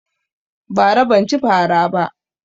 Bara ban cin fara ba